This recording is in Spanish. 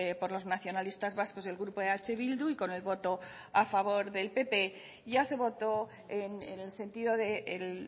por los nacionalistas vascos y el grupo eh bildu y con el voto a favor del pp ya se votó en el sentido del